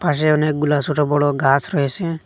পাশে অনেকগুলা সোট বড় গাস রয়েসে।